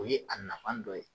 O ye a nafa dɔ ye